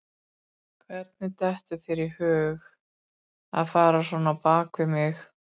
Hvernig dettur þér í hug að fara svona á bak við mig?